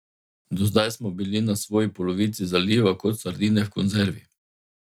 Do zdaj smo bili na svoji polovici zaliva kot sardine v konzervi.